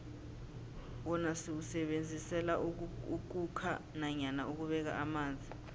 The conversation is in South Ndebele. wona siwusebenzisela ukhukha nanyana ukubeka amanzi